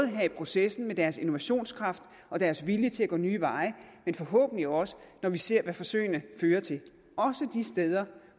her i processen med deres innovationskraft og deres vilje til at gå nye veje men forhåbentlig også når vi ser hvad forsøgene fører til også de steder